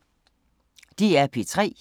DR P3